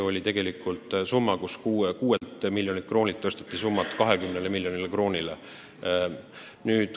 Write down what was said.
Seda summat suurendati 6 miljonist kroonist 20 miljoni kroonini.